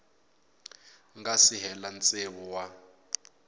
nga si hela tsevu wa